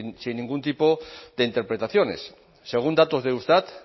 sin ningún tipo de interpretaciones según datos de eustat